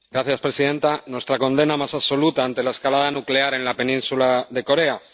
Señora presidenta, nuestra condena más absoluta ante la escalada nuclear en la península de Corea.